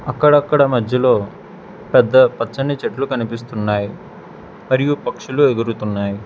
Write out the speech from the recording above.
అక్కడక్కడ మధ్యలో పెద్ద పచ్చని చెట్లు కనిపిస్తున్నాయ్ మరియు పక్షులు ఎగురుతున్నాయ్.